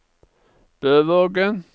Bøvågen